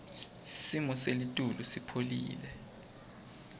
simo selitulu sipholile